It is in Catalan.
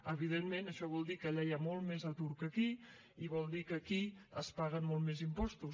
evidentment això vol dir que allà hi ha molt més atur que aquí i vol dir que aquí es paguen molts més impostos